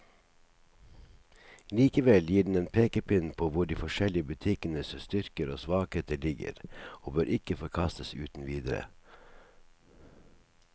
Likevel gir den en pekepinn på hvor de forskjellige butikkenes styrker og svakheter ligger, og bør ikke forkastes uten videre.